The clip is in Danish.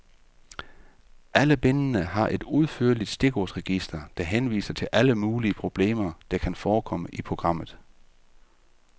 Alle bindene har et udførligt stikordsregister, der henviser til alle mulige problemer, der kan forekomme i programmet.